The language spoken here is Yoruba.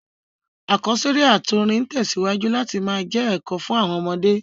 Àkọ́sórí àtí orin n tẹ̀síwájú láti má je èkò fun àwon ọmọdé